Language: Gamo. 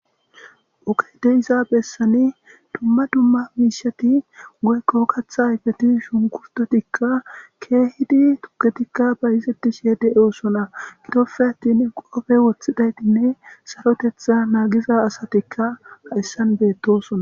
oke de iza bessani dumma dumma miishati goykko katha igeti shunkusdotikka keehidi tuketikka bayizeti sheede eosona itofe attin qofe wothidaytinne sarotetha naagiza asatikka ha essan beettosona